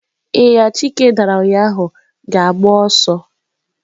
Ịnyịnya Chike dara ụnyahụ ga-agba ọsọ.